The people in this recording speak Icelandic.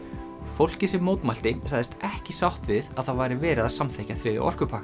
fólkið sem mótmælti sagðist ekki sátt við að það væri verið að samþykkja þriðja orkupakkann